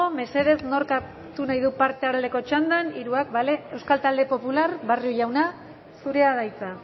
mesedez nork hartu nahi du parte aldeko txandan hiruak bale euskal talde popularra barrio jauna zurea da hitza